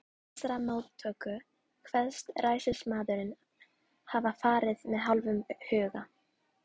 Til þessarar móttöku kveðst ræðismaðurinn hafa farið með hálfum huga.